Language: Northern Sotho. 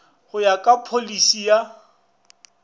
go ya ka pholisi ya